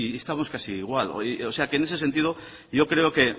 estamos casi igual o sea que en ese sentido yo creo que